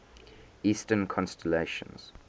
eastern constellations